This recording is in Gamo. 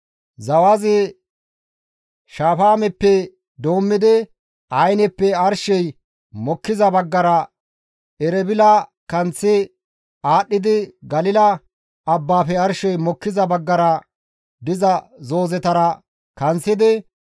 Zawazi Shafaameppe doommidi Ayineppe arshey mokkiza baggara Erebila kanththi aadhdhidi Galila abbaafe arshey mokkiza baggara diza zoozetara kanththidi,